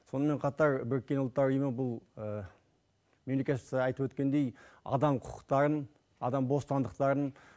сонымен қатар біріккен ұлттар ұйымы бұл мемлекет айтып өткендей адам құқытарын адам бостандықтарын